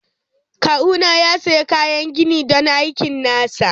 Kawuna ya sayi kayan gini don aikin nasa.